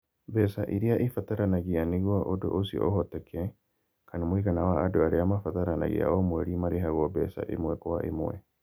mbeca iria ibataranagia nĩguo ũndũ ũcio ũhoteke, kana mũigana wa andũ arĩa mabataranagia o mweri marĩhagwo mbeca ĩmwe kwa ĩmwe.